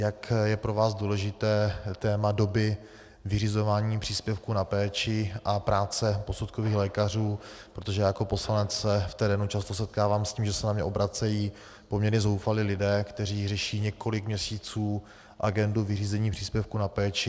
Jak je pro vás důležité téma doby vyřizování příspěvku na péči a práce posudkových lékařů, protože já jako poslanec se v terénu často setkávám s tím, že se na mě obracejí poměrně zoufalí lidé, kteří řeší několik měsíců agendu vyřízení příspěvku na péči.